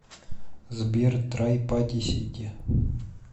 сбер трай парти сити